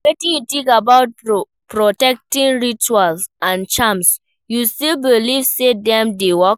Wetin you think about protection rituals and charms, you still believe say dem dey work?